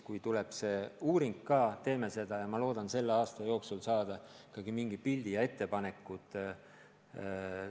Kui tulevad selle uuringu tulemused ka, siis ma loodan selle aasta jooksul ikkagi saada mingi pildi ja ettepanekud.